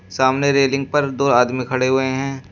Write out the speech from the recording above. सामने रेलिंग पर दो आदमी खड़े हुए हैं।